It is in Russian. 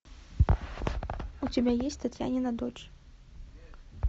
у тебя есть татьянина дочь